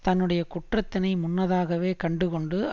தன்னுடைய குற்றத்தினை முன்னதாகவே கண்டுகொண்டு